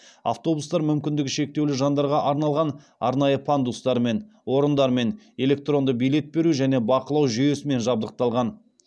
автобустар мүмкіндігі шектеулі жандарға арналған арнайы пандустармен орындармен электронды билет беру және бақылау жүйесімен жабдықталған